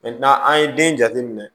an ye den jateminɛ